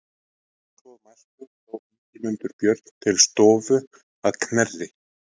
Að svo mæltu dró Ingimundur Björn til stofu að Knerri.